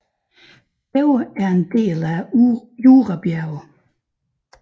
Begge er en del af Jurabjergene